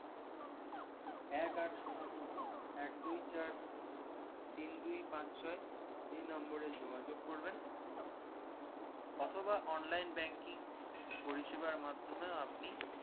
এক আট শুন্য শুন্য এক দুই চার তিন দুই পাঁচ ছয় এই number এ যোগাযোগ করবেন অথবা online banking পরিষেবার মাধ্যমে আপনি